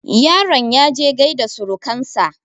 yaron ya je gaida surukansa